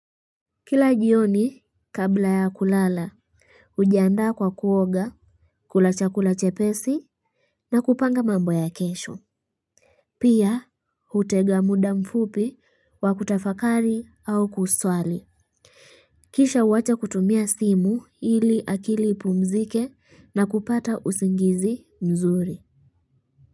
Kila jioni kabla ya kulala ujiandaa kwa kuoga. Kula chakula chepesi na kupanga mambo ya kesho. Pia hutega muda mfupi wa kutafakari au kuswali. Kisha uwacha kutumia simu ili akili ipumzike na kupata usingizi mzuri.